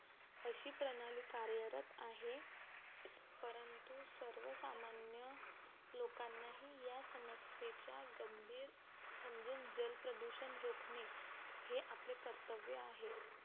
अशी प्रणाली कार्यरत आहे परंतु सर्वसामान्य लोकांना हे या समस्येच्या गंभीर समजून जलप्रदूषण रोखणे हे आपले कर्तव्य आहे.